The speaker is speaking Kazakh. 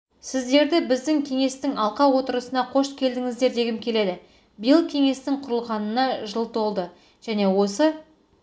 сіздерді біздің кеңестің алқа отырысына қош келдіңіздер дегім келеді биыл кеңестің құрылғанына жыл толды және осы